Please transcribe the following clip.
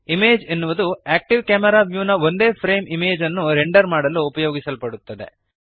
image ಎನ್ನುವುದು active camera view ನ ಒಂದೇ ಫ್ರೇಮ್ ಇಮೇಜ್ ಅನ್ನು ರೆಂಡರ್ ಮಾಡಲು ಉಪಯೋಗಿಸಲ್ಪಡುತ್ತದೆ